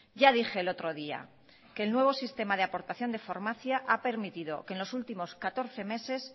ya dije el otro día que el nuevo sistema de aportación de farmacia ha permitido que en los últimos catorce meses